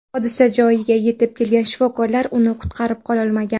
Hodisa joyiga yetib kelgan shifokorlar uni qutqarib qololmagan.